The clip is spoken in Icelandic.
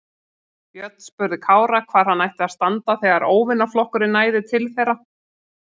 Björn spurði Kára hvar hann ætti að standa þegar óvinaflokkurinn næði til þeirra.